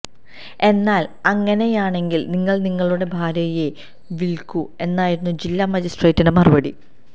എന്നാല് അങ്ങനെയാണെങ്കില് നിങ്ങള് നിങ്ങളുടെ ഭാര്യയെ വില്ക്കൂ എന്നായിരുന്നു ജില്ലാ മജിസ്ട്രേറ്റിന്റെ മറുപടി